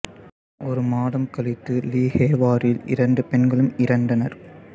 ஒரு மாதம் கழித்து லீ ஹேவாரில் இரண்டு பெண்களும் இறந்தனர்